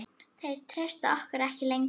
Þeir treysta okkur ekki lengur.